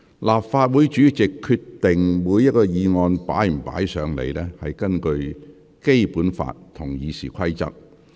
立法會主席決定是否批准議案提交立法會，所依據的是《基本法》和《議事規則》。